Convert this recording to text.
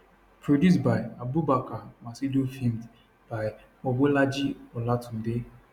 produced by abubakar maccido filmed by mobolaji olatunde